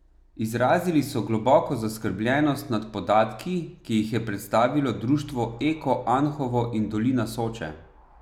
Izrazili so globoko zaskrbljenost nad podatki, ki jih je predstavilo Društvo Eko Anhovo in dolina Soče.